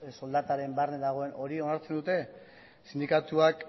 soldataren barne dagoen hori onartzen dute sindikatuak